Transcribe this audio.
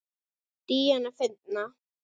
Díana fyndna.